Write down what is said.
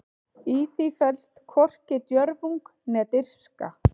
Í því felst hvorki djörfung né dirfska.